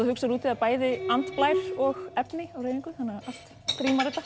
hugsar út í það bæði andblær og efni á hreyfingu þannig að allt rímar þetta